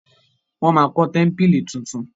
wón má kó tẹmpili títún